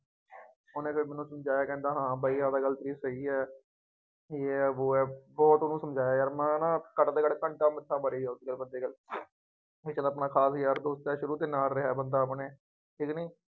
ਉਹਨੇ ਫੇਰ ਮੈਨੂੰ ਸਮਝਾਇਆ ਕਹਿੰਦਾ ਹਾਂ ਬਾਈ ਆਹ ਤਾਂ ਗੱਲ ਠੀਕ ਹੈਗੀ ਹੈ। ਯੇਹ ਹੈ ਵੋਹ ਹੈ ਬਹੁਤ ਕੁੱਝ ਸਮਝਾਇਆ ਯਾਰ ਮੈਂ ਨਾ ਘੱਟ ਤੋਂ ਘੱਟ ਮੱਥਾ ਮਾਰੀ ਹੋਊ ਬਈ ਚੱਲ ਆਪਣਾ ਖਾਸ ਯਾਰ ਦੋਸਤ ਹੈ ਸ਼ੁਰੂ ਤੋਂ ਨਾਲ ਰਿਹਾ ਬੰਦਾ ਆਪਣੇ ਠੀਕ ਕਿ ਨਹੀਂ,